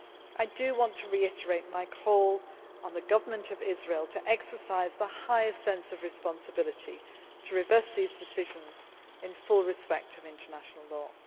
risk. I want to reiterate my call on the Israeli Government to exercise the highest sense of responsibility by reversing these decisions, in full respect of international